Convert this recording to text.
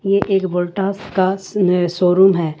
ये एक वोल्टास का शोरूम है।